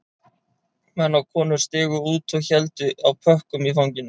Menn og konur stigu út og héldu á pökkum í fanginu